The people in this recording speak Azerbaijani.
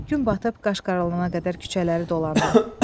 Gün batıb qaşqaralana qədər küçələri dolandım.